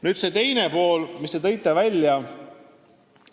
Nüüd see teine pool, mille te välja tõite.